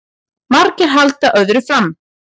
Margir halda öðru fram